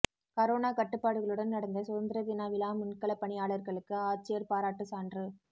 corona கட்டுப்பாடுகளுடன் நடந்த சுதந்திர தின விழாமுன்களப் பணியாளா்களுக்கு ஆட்சியா் பாராட்டுச் சான்று